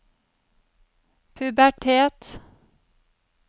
pubertet